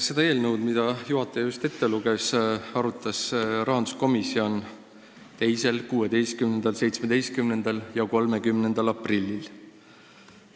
Seda eelnõu, mille pealkirja juhataja just ette luges, arutas rahanduskomisjon 2., 16., 17. ja 30. aprillil.